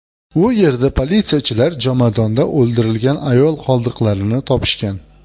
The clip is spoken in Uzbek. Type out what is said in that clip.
U yerda politsiyachilar jomadonda o‘ldirilgan ayol qoldiqlarini topishgan.